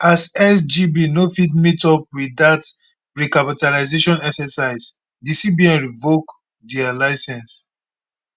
as sgb no fit meet up wit dat recapitalisation exercise di cbn revoke dia licence